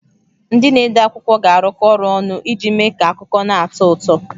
Ndị na-ede akwụkwọ ga-arụkọ ọrụ ọnụ iji mee ka akụkọ na-atọ ụtọ.